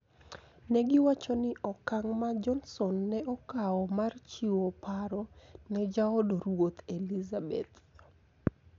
Ne giwacho ni okang ' ma Johnson ne okawo mar chiwo paro ne jaod ruoth Elizabeth